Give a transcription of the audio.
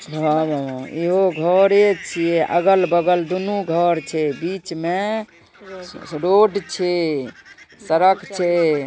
घर है एगो घर एज छे अगल-बगल दोनों घर छे बीच में रोड छे सड़क छे |